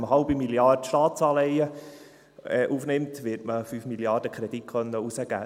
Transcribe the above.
Also, wenn man eine halbe Milliarde Staatsanleihen aufnimmt, wird man 5 Milliarden an Krediten herausgeben können.